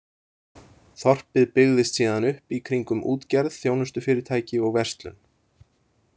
Þorpið byggðist síðan upp í kringum útgerð, þjónustufyrirtæki og verslun.